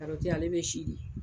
Karɔti ale bɛ si de